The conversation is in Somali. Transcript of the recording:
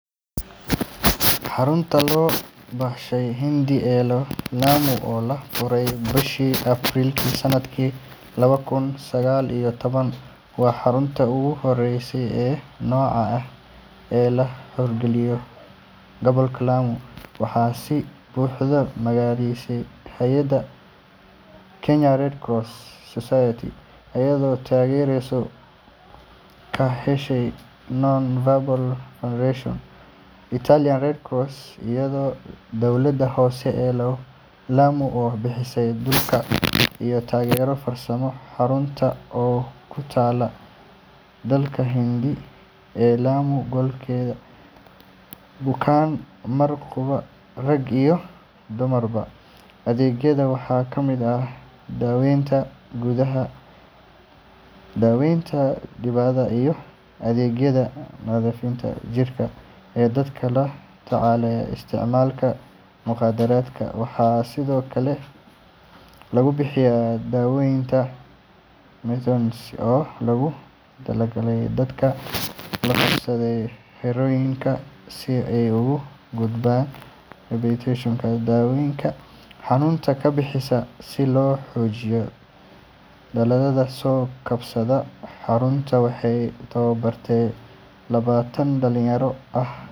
Xarunta Soo-kabashada Hindi ee Lamu, oo la furay bishii Abriil sanadkii laba kun iyo sagaal iyo toban, waa xaruntii ugu horreysay ee noocan ah ee laga hirgeliyo gobolka Lamu. Waxaa si buuxda u maalgelisay hay’adda Kenya Red Cross Society, iyadoo taageero ka heshay Nons Verbe Foundation, Italian Red Cross, iyo dowladda hoose ee Lamu oo bixisay dhulka iyo taageero farsamo. Xaruntan oo ku taalla deegaanka Hindi ee Lamu Galbeed, waxay leedahay awood ay ku qaabili karto boqol bukaan mar qura, rag iyo dumarba. Adeegyadeeda waxaa ka mid ah daaweynta gudaha, daaweynta dibadda, iyo adeegyada nadiifinta jirka ee dadka la tacaalaya isticmaalka mukhaadaraadka. Waxaa sidoo kale lagu bixiyaa daaweynta methadone oo loogu talagalay dadka la qabsaday heroin-ka, si ay uga gudbaan rabitaanka daroogada iyo xanuunka ka bixitaanka. Si loo xoojiyo dadaallada soo-kabashada, xaruntu waxay tababartay labaatan dhalinyaro ah.